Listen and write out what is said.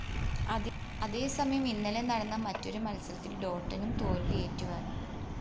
അതേസമയം ഇന്നലെ നടന്ന മറ്റൊരു മത്സരത്തില്‍ ടോട്ടനം തോല്‍വി ഏറ്റുവാങ്ങി